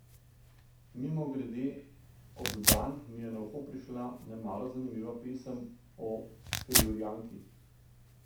Mimogrede, ondan mi je na uho prišla nemalo zanimiva pesem o Felurijanki.